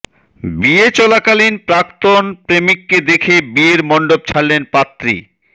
বিয়ে চলাকালীন প্রাক্তন প্রেমিককে দেখে বিয়ের মণ্ডপ ছাড়লেন পাত্রী